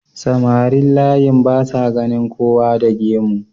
samarin layin basa ganin kowa da gemu